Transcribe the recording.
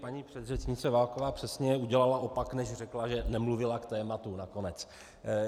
Paní předřečnice Válková přesně udělala opak, než řekla, že nemluvila k tématu nakonec.